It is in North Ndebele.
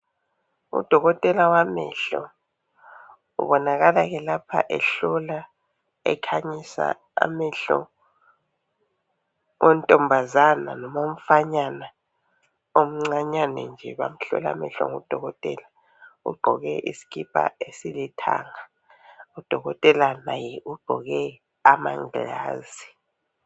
Udokotela wamehlo kubonakala ke lapho ehlola, ekhanyisa amehlo ontombazana lowomfanyana umcanyane nje bamhlola amehlo ngudokotela. Ugqoko isikipa esilithanga. Udokotela laye ugqoke amangilazi.